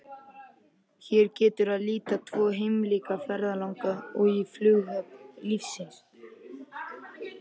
Hér getur að líta tvo keimlíka ferðalanga í flughöfn lífsins.